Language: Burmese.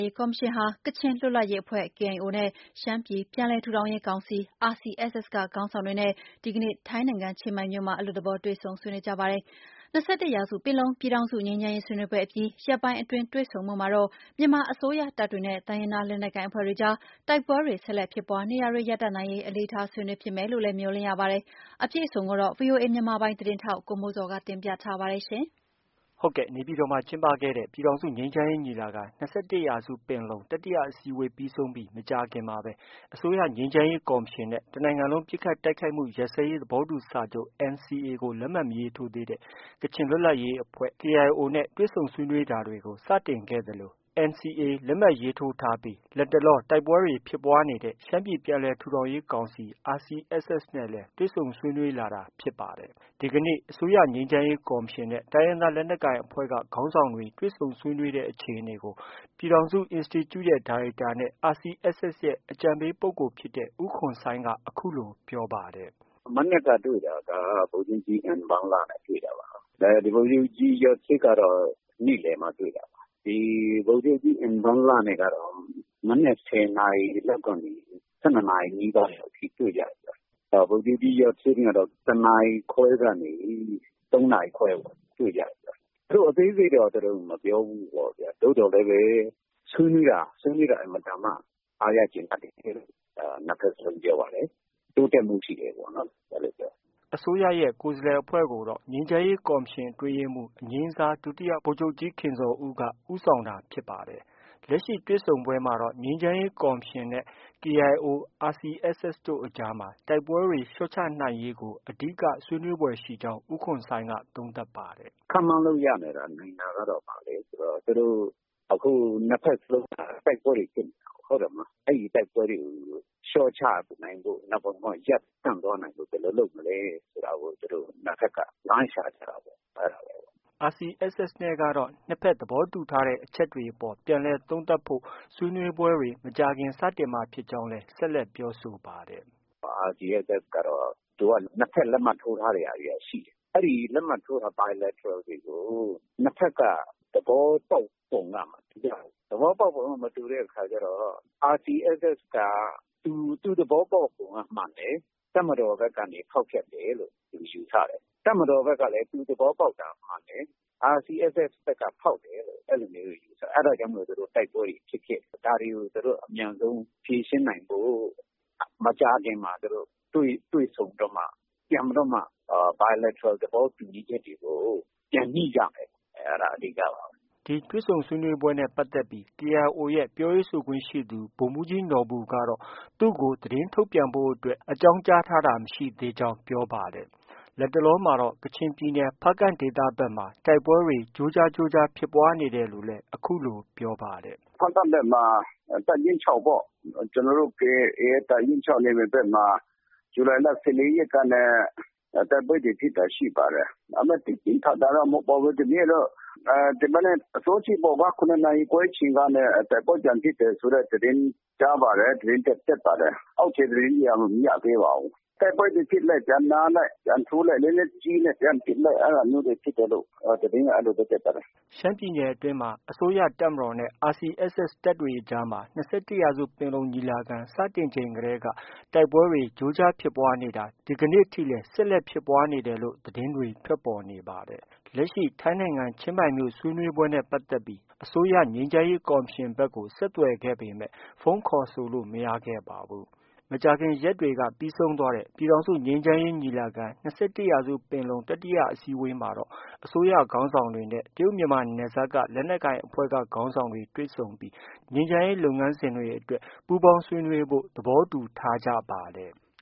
ရေးကော်မရှင်ဟာ ကချင်လွတ်လပ်ရေးအဖွဲ့ KIO နဲ့ ရှမ်းပြည်ပြန်လည် ထူထောင်ရေး ကောင်စီ RCSS က ခေါင်းဆောင်တွေနဲ့ ဒီ ကနေ့ ထိုင်းနိုင်ငံချင်းမိုင်မြို့မှာ အလွတ်သဘော တွေ့ဆုံဆွေးနွေး ကြပါတယ်။ ၂၁ ရာစုပင်လုံ ပြည်ထောင်စု ငြိမ်းချမ်းရေး ဆွေးနွေးပွဲအပြီး ရက်ပိုင်းအတွင်း တွေ့ဆုံမှုမှာတော့ မြန်မာအစိုးရတပ်တွေနဲ့ တိုင်းရင်းသား လက်နက်ကိုင် အဖွဲ့တွေကြား တိုက်ပွဲတွေ ဆက်လက်ဖြစ်ပွားနေတာတွေ ရပ်တန့်နိုင်ရေး အလေးထား ဆွေးနွေးဖြစ်မယ်လို့လည်း မျှော်လင့်ရပါတယ်။ အပြည့်အစုံကိုတော့ ဗွီအိုအေ မြန်မာပိုင်းသတင်းထောက် ကိုမိုးဇော်က တင်ပြထားပါတယ်။ နေပြည်တော်မှာ ကျင်းပတဲ့ ပြည်ထောင်စုငြိမ်းချမ်းရေးညီလာခံ- ၂၁ ရာစုပင်လုံ တတိယ အစည်းအဝေး ပြီး ဆုံးပြီး မကြာခင်မှာပဲ အစိုးရငြိမ်းချမ်းရေးကော်မရှင်နဲ့ တနိုင်ငံလုံးပစ်ခတ် တိုက်ခိုက်မှုရပ်စဲရေး သဘောတူ စာချုပ် NCA ကို လက်မှတ် မရေးထိုးသေးတဲ့ ကချင်လွတ်လပ်ရေးအဖွဲ့ KIO နဲ့ တွေ့ဆုံဆွေးနွေးတာကို စတင် ခဲ့သလို လက်မှတ်ရေးထိုးထားပြီး လတ်တလောတိုက်ပွဲတွေ ဖြစ်ပွားနေတဲ့ ရှမ်းပြည် ပြန်လည် ထူထောင်ရေး ကောင်စီ RCSS တွေ့ဆုံ ဆွေးနွေးလာတာ ဖြစ်ပါတယ်။ ဒီကနေ့ အစိုးရ ငြိမ်းချမ်းရေးကော်မရှင် နဲ့ တိုင်းရင်းသားလက်နက်ကိုင်အဖွဲ့က ခေါင်းဆောင်တွေ တွေ့ဆုံ ဆွေးနွေးတဲ့ အခြေအနေကို ပြည်ထောင်စုအင်စတီကျု ဒါရိုက်တာနဲ့ RCSS ရဲ့ အကြံပေးပုဂ္ဂိုလ်ဖြစ်တဲ့ ဦးခွန်ဆိုင်းက အခုလို ပြောပါတယ်။ “မနက်က တွေ့တာက ဗိုလ်ချုပ်ကြီး အင်ဘန်လနဲ့ တွေ့တာပါ။ ဗိုလ်ချုပ်ကြီး ယွတ်ဆစ်ကတော့ နေ့လည်မှဗိုလ်ချုပ်ကြီးအင်ဘန်လနဲ့က မနက် ၁၀ နာရီကနေ ၁၂ နာရီနီးပါးအထိ တွေ့ကြတယ်။ ဗိုလ်ချုပ်ကြီး ယွတ်ဆစ် နဲ့ကတော့ ၁ နာရီခွဲ ကနေ ၃ နာရီခွဲအထိတွေ့ကြတယ်။ သူတို့ အသေးစိတ်တော့ မပြောဘူးပေါ့ဗျာ။ သို့သော် လည်းပဲ ဆွေးနွေးတာ အင်မတန်မှ အားရကျေနပ်တယ်လို့ နှစ်ဖက်စလုံး ပြောပါတယ်။ တိုးတက်မှု ရှိတယ်ပေါ့ နော်။ အဲလို ပြောတယ်။” အစိုးရရဲ့ ကိုယ်စားလှယ်အဖွဲ့ကိုတော့ ငြိမ်းချမ်းရေးကော်မရှင် အတွင်းရေးမှုး အငြိမ်းစား ဒုတိယဗိုလ်ချုပ်ကြီး ခင်ဇော်ဦးက ဦးဆောင်တာဖြစ်ပါတယ်။ လက်ရှိ တွေ့ဆုံပွဲမှာတော့ ငြိမ်းချမ်းရေးကော်မရှင်နဲ့ KIO၊ RCSS တို့အကြားမှာ တိုက်ပွဲတွေ လျော့ချနိုင်ရေးကို အဓိက ဆွေးနွေးဖွယ်ရှိကြောင်း ဦးခွန်ဆိုင်းက သုံးသပ်ပါတယ်။ “ခန့်မှန်းလို့ရနိုင်တာက ဘာလဲဆိုတော့ အခု နှစ်ဘက်စလုံးက တိုက်ပွဲတွေ ဖြစ်နေတာကိုး။ အဲဒီတိုက်ပွဲတွေကို လျှော့ချနိုင်ဖို့၊ ဒါမှမဟုတ် ရပ်တန့်သွားနိုင်ဖို့ ဘယ်လိုလုပ်မလဲဆိုတာကို သူတို့ နှစ်ဘက်က လမ်းရှာကြတာပေါ့ အဲဒါပါပဲ။” RCSS နဲ့ကတော့ နှစ်ဘက်သဘောတူထားတဲ့အချက်တွေအပေါ် ပြန်လည် သုံးသပ်ဖို့ ဆွေးနွေးပွဲတွေ မကြာခင်စတင်မှာဖြစ်ကြောင်း ပြောပါတယ်။ “RCSS ကတော့ သူက နှစ်ဘက်လက်မှတ်ထိုးထားတဲ့ဟာတွေက ရှိတယ်။ အဲဒီ လက်မှတ်ထိုးထားတဲ့ Bilateral တွေကို နှစ်ဘက်က သဘောတူချက်က မတူကြ ဘူး။ သဘောပေါက်ပုံက မတူတဲ့အခါကျတော့ RCSS က သူ သဘောပေါက်ပုံက မှန်တယ်။ တပ်မတော်ဖက်က ဖောက်ဖျက်တယ်လို့ ယူဆတယ်။ တပ်မတော် ဖက်ကလည်း သူသဘောပေါက်တာမှန်တယ်။ RCSS ဖက်က ဖောက်တယ်လို့ ယူဆတယ်။ အဲဒါကြောင့် တိုက်ပွဲတွေ ဖြစ်ဖြစ် နေတာ။ ဒါတွေကို သူတို့ အမြန်ဆုံး ဖြေရှင်းနိုင်ဖို့ မကြာခင်မှာ တွေ့ဆုံပြီးတော့မှ ပြန်ပြီးတော့မှာ Bilateral သဘောတူညီချက်တွေကို ပြန်ညှိကြမယ်။ အဲဒါ အဓိကပါပဲ။ ” ဒီတွေ့ဆုံဆွေးနွေးပွဲနဲ့ပတ်သက်ပြီး KIO ရဲ့ ပြောရေးဆိုခွင့်ရှိသူ ဗိုလ်မှူးကြီး နော်ဘူကတော့ သူ့ကို သတင်းထုတ် ပြန်ဖို့အတွက် အကြောင်းကြားထားတာ မရှိသေးကြောင်း ပြောပါတယ်။ လတ်တလောမှာတော့ ကချင်ပြည်ဖားကန့်ဒေသဖက်မှာ တိုက်ပွဲတွေ ကြိုးကြား ဖြစ်နေတယ်လို့လည်း အခုလို ပြောပါတယ်။ “ဖားကန့်ဖက်မှာ တပ်ရင်း ၆ ပေါ့။ ကျနော်တို့ KIA ရဲ့ တပ်ရင်း ၆ နယ်မြေဖက်မှာ ဇူလိုင်လ ၁၄ ရက်က တိုက်ပွဲ တွေ ဖြစ်တာရှိပါတယ်။ ဒါပေမဲ့ သိပ်ပြင်းပြင်း ထန်ထန်တော့ မဟုတ်ပါဘူး။ ဒီနေ့တော့ ဒီမနက် အစောကြီးပေါ့ ကွာ။ ၇ နာရီခွဲ အချိန်ကနေ တိုက်ပွဲပြန်ဖြစ်တယ်ဆိုတဲ့သတင်း ကြားပါတယ်။ သတင်းတက် ပါတယ်။ အောက်ခြေ သတင်းတွေက မရသေးပါဘူး။ တိုက်ပွဲတွေဖြစ်လိုက် ပြန်နားလိုက် ပြန်ထိုးလိုက် လက်နက်ကြီးနဲ့ပစ်လိုက် အဲဒါမျိုးတွေဖြစ်တယ်လို့ သတင်းက အဲလို တက်ပါတယ်။” ရှမ်းပြည်နယ်အတွင်းမှာလည်း အစိုးရတပ်မတော်နဲ့ RCSS တပ်တွေအကြားမှာ ၂၁ရာစုပင်လုံ ညီလာခံ စတင် ချိန်တည်းက တိုက်ပွဲတွေ ကြိုးကြားဖြစ်ပွားနေတာ ဒီကနေ့ထိလည်း ဖြစ်ပွားနေတယ်လို့ သတင်းတွေ ထွက် ပေါ်နေပါတယ်။ လက်ရှိ ထိုင်းနိုင်ငံချင်းမိုင်မြို့ ဆွေးနွေးပွဲနဲ့ပတ်သက်ပြီး အစိုးရ ငြိမ်းချမ်းရေး ကော်မရှင်ဘက်ကို ဆက်သွယ်ခဲ့ ပေမဲ့ ဖုန်း ခေါ်ဆိုလို့ မရခဲ့ပါဘူး။ မကြာခင်ရက်တွေက ပြီးဆုံးသွားတဲ့ ပြည်ထောင်စုငြိမ်းချမ်းရေးညီလာခံ ၂၁ ရာစု ပင်လုံ တတိယ အစည်းအဝေး မှာတော့ အစိုးရခေါင်းဆောင်တွေနဲ့ တရုတ်မြန်မာ နယ်စပ်က လက်နက်ကိုင်အဖွဲ့က ခေါင်းဆောင်တွေ တွေ့ ဆုံပြီး ငြိမ်းချမ်းရေး လုပ်ငန်းစဉ်အတွက် ပူးပေါင်းဆွေးနွေးဖို့ သဘောတူထားကြပါတယ်။